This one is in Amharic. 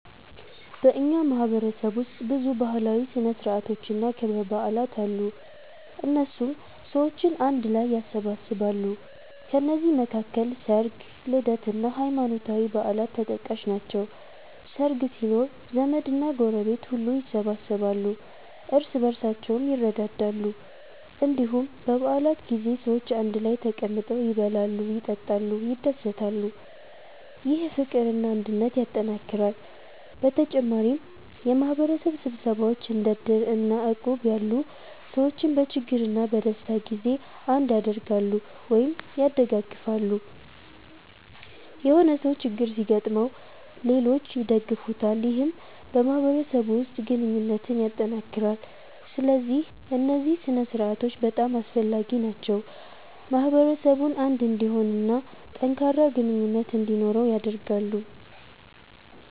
በእኛ ማህበረሰብ ውስጥ ብዙ ባህላዊ ሥነ ሥርዓቶችና ክብረ በዓላት አሉ፣ እነሱም ሰዎችን አንድ ላይ ያሰባስባሉ። ከነዚህ መካከል ሰርግ፣ ልደት እና ሃይማኖታዊ በዓላት ተጠቃሽ ናቸው። ሰርግ ሲኖር ዘመድና ጎረቤት ሁሉ ይሰበሰባሉ፣ እርስ በርሳቸውም ይረዳዳሉ። እንዲሁም በ በዓላት ጊዜ ሰዎች አንድ ላይ ተቀምጠው ይበላሉ፣ ይጠጣሉ፣ ይደሰታሉ። ይህ ፍቅርና አንድነትን ያጠናክራል። በተጨማሪም የማህበረሰብ ስብሰባዎች እንደ እድር እና እቁብ ያሉ ሰዎችን በችግርና በደስታ ጊዜ አንድ ያደርጋሉ(ያደጋግፋሉ)።የሆነ ሰው ችግር ሲገጥመው ሌሎች ይደግፉታል ይህም በማህበረሰቡ ውስጥ ግንኙነትን ያጠናክራል። ስለዚህ እነዚህ ሥነ ሥርዓቶች በጣም አስፈላጊ ናቸው፣ ማህበረሰቡን አንድ እንዲሆን እና ጠንካራ ግንኙነት እንዲኖረው ያደርጋሉ።